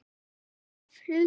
Þín alltaf, Hulda.